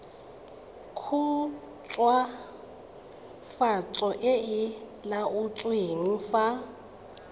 khutswafatso e e laotsweng fa